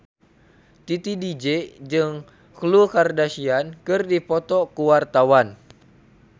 Titi DJ jeung Khloe Kardashian keur dipoto ku wartawan